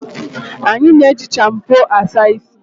Anyi na-eji shampu Asa ishi